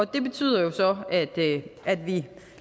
det betyder så at vi